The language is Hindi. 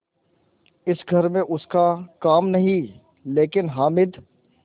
इस घर में उसका काम नहीं लेकिन हामिद